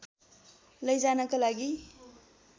लैजानका लागि